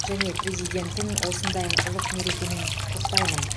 және президентін осындай ұлық мерекемен құттықтаймын